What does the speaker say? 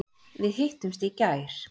Við hittumst í gær.